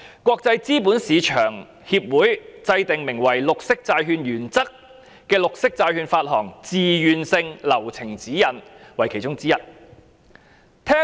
國際資本市場協會制訂名為《綠色債券原則》的綠色債券發行自願性流程指引為其中之一。